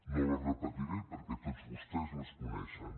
no les repetiré perquè tots vostès les coneixen